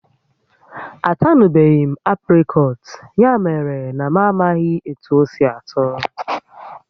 A tanubeghị m apricot ya mere na m amaghị m ihe etu osi atọ